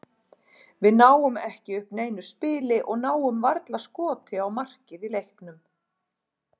Við náum ekki upp neinu spili og náum varla skoti á markið í leiknum.